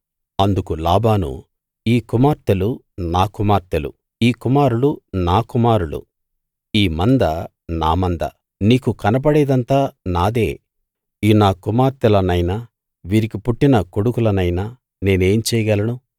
అందుకు లాబాను ఈ కుమార్తెలు నా కుమార్తెలు ఈ కుమారులు నా కుమారులు ఈ మంద నా మంద నీకు కనబడేదంతా నాదే ఈ నా కుమార్తెలనైనా వీరికి పుట్టిన కొడుకులనైనా నేనేం చేయగలను